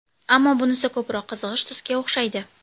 Ammo bunisi ko‘proq qizg‘ish tusga o‘xshaydi.